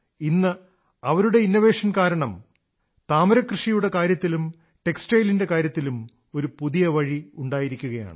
ഇന്ന് അവരുടെ നൂതനാശയം കാരണം താമരകൃഷിയുടെ കാര്യത്തിലും ടെക്സ്റ്റൈലിന്റെ കാര്യത്തിലും ഒരു പുതിയ വഴി ഉണ്ടായിരിക്കയാണ്